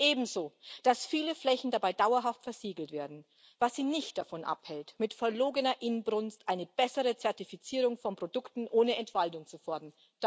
Ebenso, dass viele Flächen dabei dauerhaft versiegelt werden, was sie nicht davon abhält, mit verlogener Inbrunst eine bessere Zertifizierung von Produkten ohne Entwaldung zu fordern.